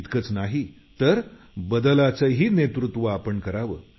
इतकंच नाही तर बदलाचं नेतृत्वही आपण करावं